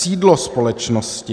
Sídlo společnosti.